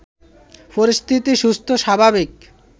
পরিস্থিতি সুস্থ, স্বাভাবিক